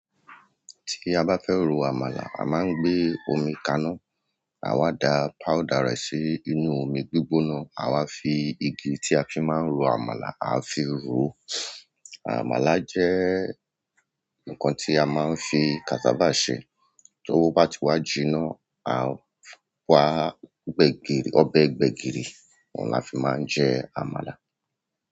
Tí a bá fẹ́ ro àmàlà, a máa ń gbé omi kaná, à wa da powder rẹ̀ sí inú omi gbígbóná, à wa fi igi tí a fi máa ń ro àmàlà, à fi ro. Àmàlà jẹ́ nǹkan tí a máa ń fi cassava ṣe. Tówó bá ti wá jinná, à wa gbẹ́gìrì, ọbẹ̀ gbẹ́gìrì, òun là fi máa ń jẹ àmàlà.